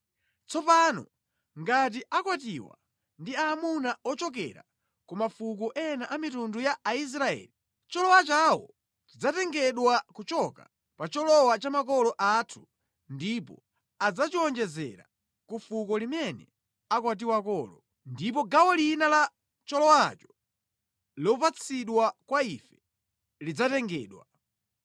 Tsopano ngati akwatiwa ndi aamuna ochokera ku mafuko ena a mitundu ya Aisraeli, cholowa chawo chidzatengedwa kuchoka pa cholowa cha makolo athu ndipo adzachiwonjezera ku fuko limene akwatiwakolo. Ndipo gawo lina la cholowacho, lopatsidwa kwa ife lidzatengedwa.